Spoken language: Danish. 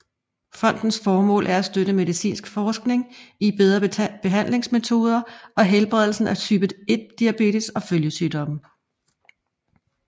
Fondens formål er støtte medicinsk forskning i bedre behandlingsmetoder og helbredelse af type 1 diabetes og følgesygdommene